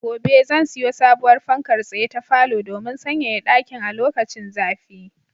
Gobe ​​zan siyo sabowar fankar tsaye ta falo domin sanyaya ɗakin a lokacin zafi.